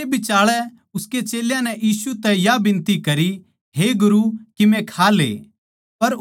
इस बिचाळै उसके चेल्यां नै यीशु तै या बिनति करी हे गुरु किमे खा ले